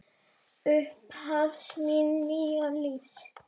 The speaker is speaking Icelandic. Upphaf míns nýja lífs.